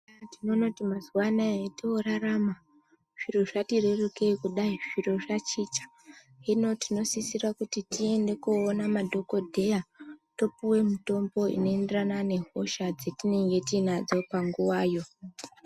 Tinoona kuti mazuwa anaya atinorarama zviro zvati rerukei kudai zviro zvachicha hino tinosisira kuti tiende koona madhokodheya topuwa mutombo unoenderana nehosha dzatinenge tinacho panguvayo